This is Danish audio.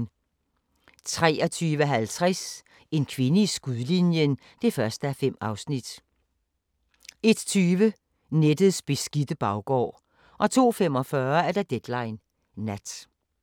23:50: En kvinde i skudlinjen (1:5) 01:20: Nettets beskidte baggård 02:45: Deadline Nat